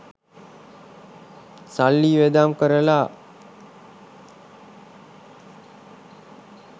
සල්ලි වියදම් කරලා